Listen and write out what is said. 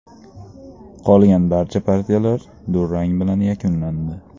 Qolgan barcha partiyalar durang bilan yakunlandi.